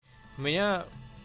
у меня